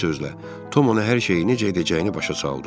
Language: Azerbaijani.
Bir sözlə, Tom ona hər şeyi necə edəcəyini başa saldı.